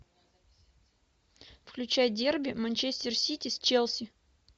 включай дерби манчестер сити с челси